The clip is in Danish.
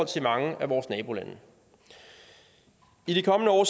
til mange af vores nabolande i de kommende år